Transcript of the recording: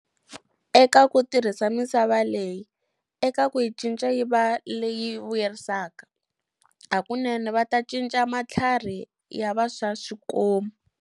Eka ku tirha misava leyi, eka ku yi cinca yi va leyi vuyerisaka, hakunene va ta cinca matlhari ya va swa swikomu.